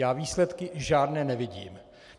Já výsledky žádné nevidím.